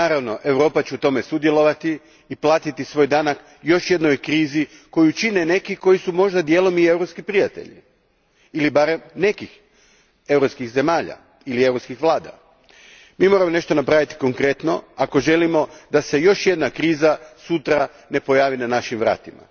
Naravno, Europa će u tome sudjelovati i platiti svoj danak još jednoj krizi koju čine neki koji su možda dijelom i europski prijatelji ili barem nekih europskih zemalja ili europskih vlada. Mi moramo napraviti nešto konkretno ako ne želimo da se još jedna kriza sutra pojavi na našim vratima.